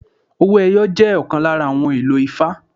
Owó ẹyọ jẹ́ ọ̀kan lára àwọn ohun èlò ifá.